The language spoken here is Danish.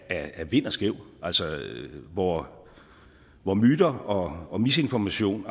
er vind og skæv altså hvor hvor myter og og misinformation